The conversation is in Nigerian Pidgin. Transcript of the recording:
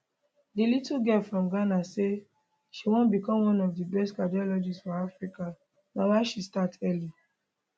di little girl from ghana say she wan become one of di best cardiologists for africa na why she start early